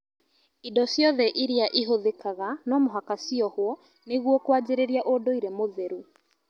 Indo ciothe iria ihũthĩkaga nomũhaka ciohwo nĩguo kwanjĩrĩria ũndũire Mũtheru